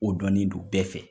O dɔni do bɛɛ fɛ.